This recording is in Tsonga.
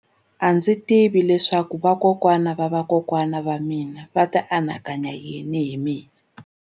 A ndzi tivi leswaku vakokwana-va-vakokwana va mina a va ta anakanya yini hi mina.